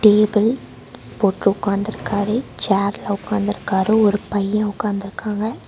Table போட்டு உக்காந்திருக்காரு சேர்ல உக்காந்திருக்காரு ஒரு பைய உக்காந்திருக்காங்க.